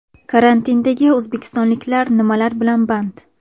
Karantindagi o‘zbekistonliklar nimalar bilan band?.